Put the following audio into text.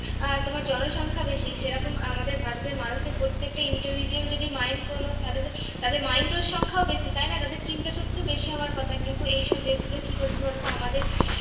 আহ তোমার জনসংখ্যা বেশি সেরকম আমাদের ভারতের মানুষের প্রত্যেকটা intelligent যদি mind কোনো তাহলে তো তাদের mind এর সংখ্যাও বেশি তাই না? তাদের চিন্তা সবচেয়ে বেশি হবার কথা, কিন্তু এইসব দেশগুলো কি করছে বলতো আমাদের